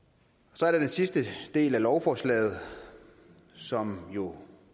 så er der den sidste del af lovforslaget som jo